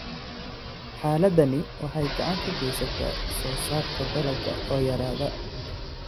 Xaaladdani waxay gacan ka geysataa soosaarka dalagga oo yaraada.